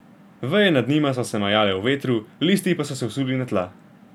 Veje nad njima so se majale v vetru, listi pa so se usuli na tla.